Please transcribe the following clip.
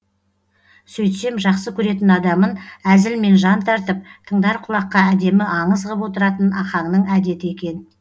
сөйтсем жақсы көретін адамын әзілмен жан тартып тыңдар құлаққа әдемі аңыз ғып отыратын ахаңның әдеті екен